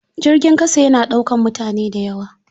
Jirgin ƙasa yana ɗaukar mutane da yawa.